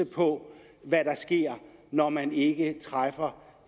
på hvad der sker når man ikke træffer